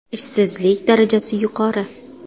Ishsizlik darajasi yuqori.